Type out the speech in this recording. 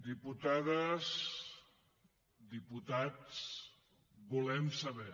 diputades diputats volem saber